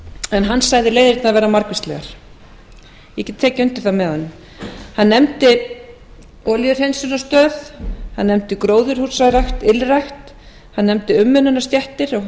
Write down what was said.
en hann sagði leiðirnar vera margvíslegar ég get tekið undir það með honum hann nefndi olíuhreinsunarstöð hann nefndi gróðurhúsarækt ylrækt hann nefndi umönnunarstéttir